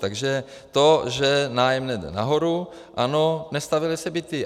Takže to, že nájemné jde nahoru - ano, nestavěly se byty.